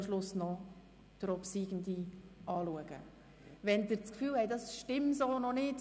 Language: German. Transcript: Am Schluss wird über den obsiegenden Antrag abgestimmt.